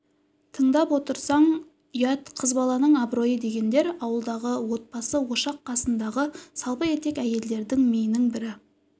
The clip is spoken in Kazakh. тыңдап отырсаң ұят қыз баланың абыройы дегендер ауылдағы отбасы ошақ қасындағы салпы етек әйелдердің миының бірі